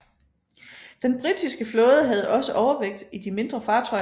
Den britiske flåde havde også overvægt i de mindre fartøjer